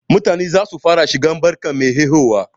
Mutane zasu fara shigowa barkan mai haihuwa.